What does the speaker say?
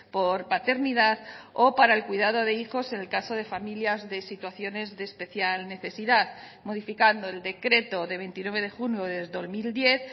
por paternidad o para el cuidado de hijos en el caso de familias de situaciones de especial necesidad modificando el decreto de veintinueve de junio de dos mil diez